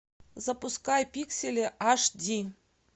запускай пиксели аш ди